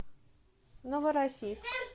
новороссийск